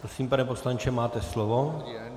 Prosím, pane poslanče, máte slovo.